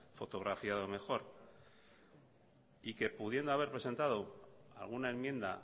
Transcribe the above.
fotografiado mejor y que pudiendo haber presentado alguna enmienda